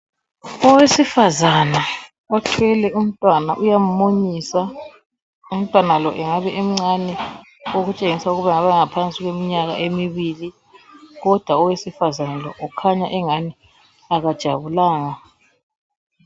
Owesifazana uthwele umntwana uyamu munyisa ,umtwana lo engabe emcane okutshengisa ukuba engabe engaphansi kweminyaka emibili kodwa owesifazana lo ukhanya angani kajabulanga.